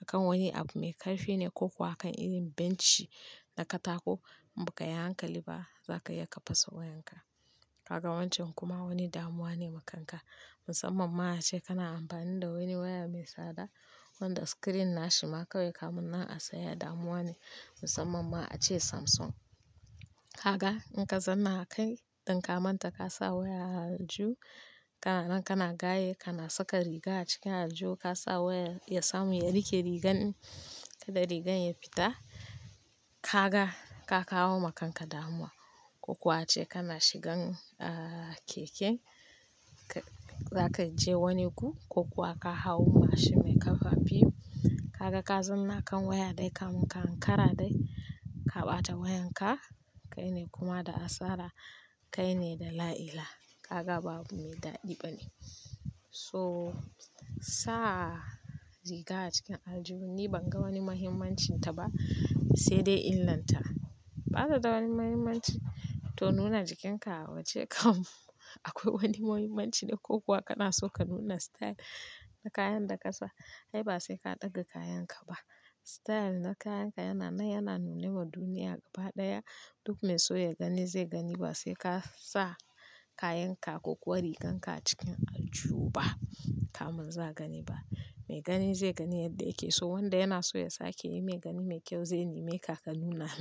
a kan wani abu mai ƙarfi ne ko kuwa a kan irin benci na katako in ba ka yi hankali ba za ka iya ka fasa wayanka. Kaga wancan kuma wani damuwa ne ma kanka. Musamman ma a ce kana amfani da wani waya mai tsada wanda screen na shi ma kawai kamun na a sayar damuwa ne musamman ma a ce Samsung. Kaga in ka zanna kai ɗin kamanta ka sa waya a alju, ka nan kana gaye kana saka riga a cikin alju ka sa waya ya samu ya rike rigan in kaɗai rigan ya fita. Gaka ka kawo maka damuwa ko kuwa a ce kana shigan, ah, keke. Ka-za ka je wani gu ko kuwa ka hau mashin mai ƙarfi. Kaga ka zanna kan waya dai kan kara dai ka ɓata wayan ka. Kai ne kuma da asara kai ne da la'ila. Haka babu mai daɗi bane. So sa riga a cikin aljihu ni ban ga wani mahimmancin ta ba sai dai illan ta. Ba ta da wani mahimmanci. To nuna jikinka waje kam akwai wani mahimmanci ne ko kuwa kana so ka nuna style na kayan da ka sa. Kai ba sai ka ɗaga kayan ka ba. Style na kayan ka yana nan yana nuna wa duniya gaba ɗaya duk mai so ya gani zai gani ba sai ka sa kayan ka ko kuwa riganka a cikin alju ba kamin za a gani ba. Mai gani zai gani yadda yake. So wanda yana so ya sake yi mai gani mai kyau zai neme ka ka nuna mai.